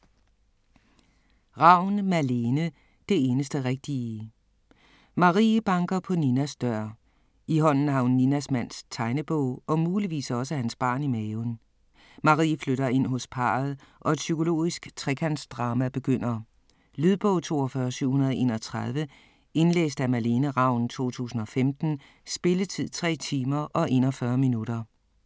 Ravn, Malene: Det eneste rigtige Marie banker på Ninas dør. I hånden har hun Ninas mands tegnebog og muligvis også hans barn i maven. Marie flytter ind hos parret og et psykologisk trekantsdrama begynder. Lydbog 42731 Indlæst af Malene Ravn, 2015. Spilletid: 3 timer, 41 minutter.